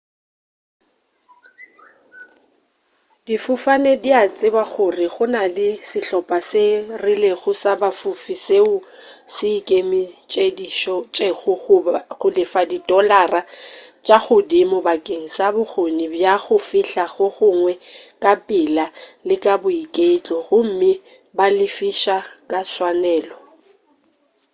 difofane di a tseba gore go na le sehlopa se rilego sa ba fofi seo se ikemišeditšego go lefa di dolara tša godimo bakeng sa bokgoni bja go fihla go gongwe ka pela le ka boiketlo gomme ba lefiša ka tswanelo